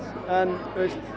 en